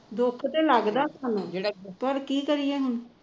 ਦੁੱਖ ਤਾਂ ਲੱਗਦਾ ਸਾਨੂੁੰ ਪਰ ਕੀ ਕਰੀਏ ਹੁਣ